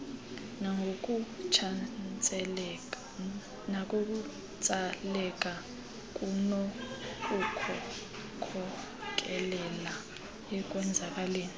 nangokutsaleka kunokukhokelela ekwenzakaleni